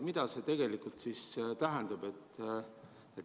Mida see tegelikult tähendab?